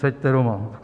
Seďte doma!"